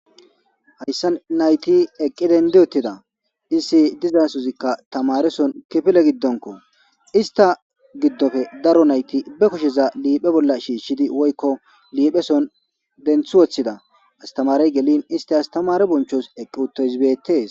Hayssa nayti eqqi dendi uttida issi dizasozikka tamareson kifile giddonko. Ista giddoppe daro nayti be kusheza liiphe bolla shiishshidi woykko liipheson denthi woththida. Astamarey gelin isti astamare bonchos eqqi uttoys beetees.